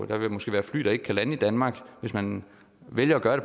der vil måske være fly der ikke kan lande i danmark hvis man vælger at gøre